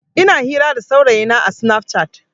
Ina hira da saurayina a sinaf cat.